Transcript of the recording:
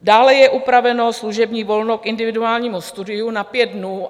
Dále je upraveno služební volno k individuálnímu studiu na pět dnů.